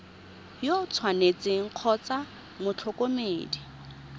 yo o tshwanetseng kgotsa motlhokomedi